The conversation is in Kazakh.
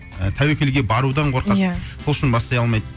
ы тәуекелге барудан қорқады иә сол үшін бастай алмайды